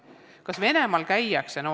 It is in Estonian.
Kas Venemaal käiakse?